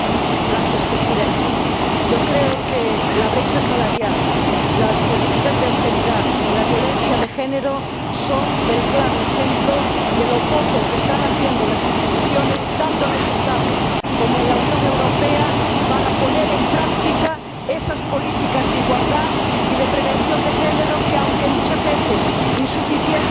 Señor Presidente, creo que la brecha salarial, las políticas de austeridad y la violencia de género son el claro ejemplo de lo poco que están haciendo las instituciones tanto en los Estados como en la Unión Europea para poner en práctica esas políticas de igualdad y de prevención de género que, aunque muchas veces insuficientes,